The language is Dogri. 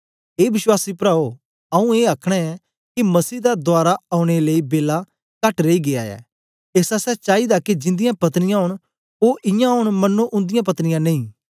ए विश्वासी प्राओ आऊँ ए आखना ऐं के मसीह दा दवारा औने लेई बेला कहट रेई गीया ऐ एस आसतै चाईदा के जिन्दियाँ पत्नियां ओंन ओ इयां ओंन मन्नो उन्दिआं पत्नियां नेई